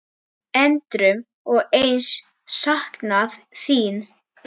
Endrum og eins saknað þín.